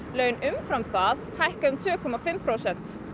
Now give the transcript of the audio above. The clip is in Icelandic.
laun umfram það hækki um tvö og hálft prósent